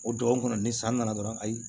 O dɔgɔkun kɔnɔ ni san nana dɔrɔn ayi